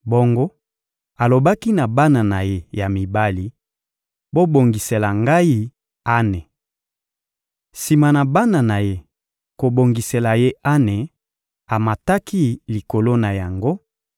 Bongo alobaki na bana na ye ya mibali: — Bobongisela ngai ane. Sima na bana na ye kobongisela ye ane, amataki likolo na yango,